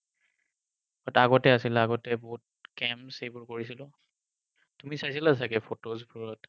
আগতে আছিল, আগতে বহুত camps সেইবোৰ কৰিছিলো। তুমি চাইছিলা চাগে photos বোৰত?